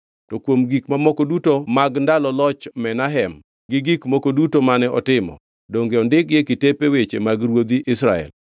To kuom gik mamoko duto mag ndalo loch Menahem, gi gik moko duto mane otimo, donge odikgi e kitepe weche mag ruodhi Israel.